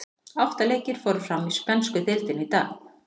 Átta leikir fóru fram í spænsku deildinni í dag.